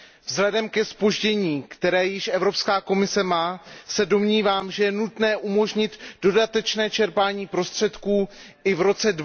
Vzhledem ke zpoždění, které již Evropská komise má, se domnívám, že je nutné umožnit dodatečné čerpání prostředků i v roce